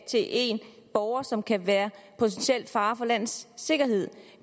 til en borger som kan være en potentiel fare for landets sikkerhed